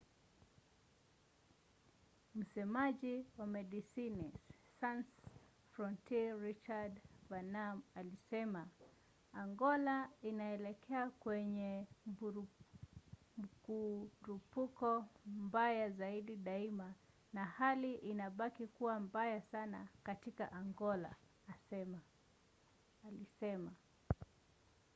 msemaji wa medecines sans frontiere richard veerman alisema: angola inaelekea kwenye mkurupuko mbaya zaidi daima na hali inabaki kuwa mbaya sana katika angola,” alisema